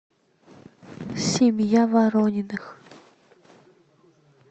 семья ворониных